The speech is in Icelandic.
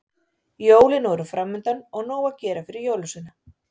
Jólin voru framundan og nóg að gera fyrir jólasveina.